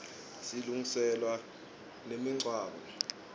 silungiselwaa nemiqwaco